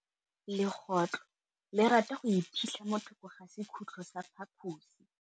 Legôtlô le rata go iphitlha mo thokô ga sekhutlo sa phaposi.